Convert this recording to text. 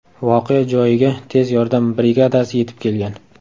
Voqea joyiga tez yordam brigadasi yetib kelgan.